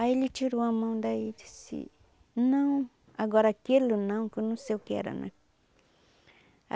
Aí ele tirou a mão daí e disse, não, agora aquilo não, que eu não sei o que era, né.